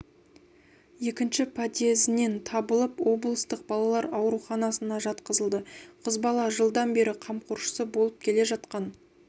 екінші подъездінен табылып облыстық балалар ауруханасына жатқызылды қыз бала жылдан бері қамқоршысы болып келе жатқан